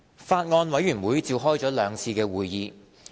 法案委員會召開了兩次會議。